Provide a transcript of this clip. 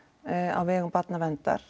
á vegum barnaverndar